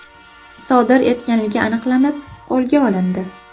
sodir etganligi aniqlanib, qo‘lga olindi.